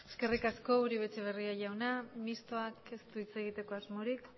eskerrik asko uribe etxebarria jauna mistoak ez du hitz egiteko asmorik